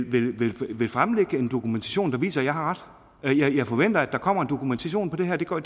vil vil fremlægge en dokumentation der viser at jeg har ret jeg forventer at der kommer en dokumentation af det her det går